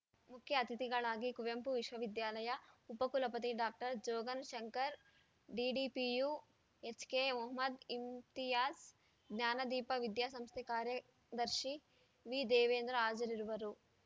ಮುಖ್ಯ ಅತಿಥಿಗಳಾಗಿ ಕುವೆಂಪು ವಿಶ್ವವಿದ್ಯಾಲಯ ಉಪ ಕುಲಪತಿ ಡಾಕ್ಟರ್ ಜೋಗನ್‌ ಶಂಕರ್‌ ಡಿಡಿಪಿಯು ಎಚ್‌ಕೆಮೊಹಮ್ಮದ್‌ ಇಮ್ತಿಯಾಜ್‌ ಜ್ಞಾನದೀಪ ವಿದ್ಯಾ ಸಂಸ್ಥೆ ಕಾರ‍್ಯದರ್ಶಿ ವಿದೇವೇಂದ್ರ ಹಾಜರಿರುವರು